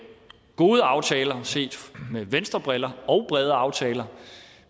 gode aftaler set med venstrebriller og brede aftaler